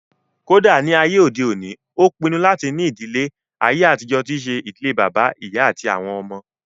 Kódà ní àyè òde òní, ó pinnu láti ní ìdílé àyè àtijọ́ tí ṣe ìdílé bàbá, ìyá àti àwọn ọmọ